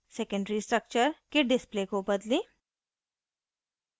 secondary structure के display को बदलें